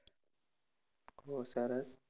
બહુ સરસ.